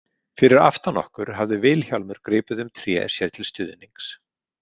Fyrir aftan okkur hafði Vilhjálmur gripið um tré sér til stuðnings.